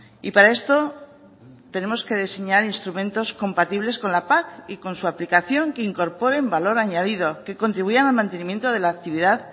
y para esto tenemos que diseñar instrumentos compatibles con la pac y con su aplicación que incorporen valor añadido que contribuyan al mantenimiento de la actividad